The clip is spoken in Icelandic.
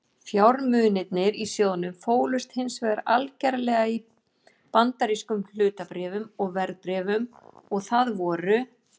Fjármunirnir í sjóðnum fólust hins vegar algerlega í bandarískum hlutabréfum og verðbréfum og það voru